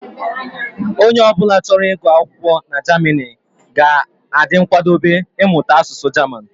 Onye ọ bụla chọrọ ị gu akwụkwọ na Germany, ga adị nkwadobe imụta asụsụ German